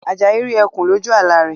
Ajayi rí ẹkùn loju àlá rẹ̀